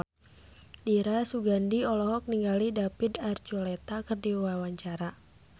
Dira Sugandi olohok ningali David Archuletta keur diwawancara